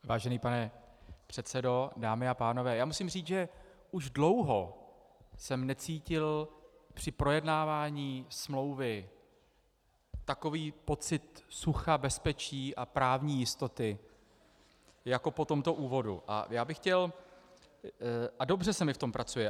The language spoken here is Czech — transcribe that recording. Vážený pane předsedo, dámy a pánové, já musím říct, že už dlouho jsem necítil při projednávání smlouvy takový pocit sucha, bezpečí a právní jistoty jako po tomto úvodu a dobře se mi v tom pracuje.